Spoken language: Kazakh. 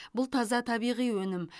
бұл таза табиғи өнім